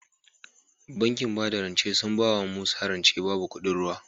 Bankin bada bada rance sun bawa musa rance babu kuɗin ruwa